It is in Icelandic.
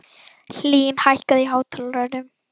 Hlín, hækkaðu í hátalaranum.